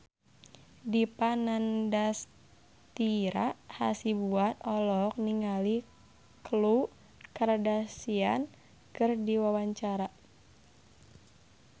Dipa Nandastyra Hasibuan olohok ningali Khloe Kardashian keur diwawancara